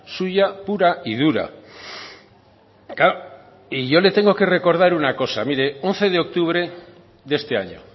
suya pura y dura y yo le tengo que recordar una cosa mire once de octubre de este año